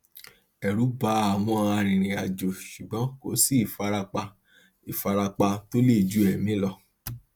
ẹrù bà àwọn arìnrìnàjò ṣùgbọn kò sí ìfarapa ìfarapa tó le ju ẹmí lọ